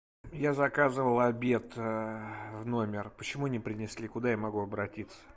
я заказывал обед в номер почему не принесли куда я могу обратиться